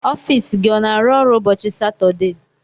Ọfiisi gị ọ n'arụ ọrụ ụbọchị Satọdee?